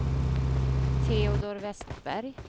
Teodor Westberg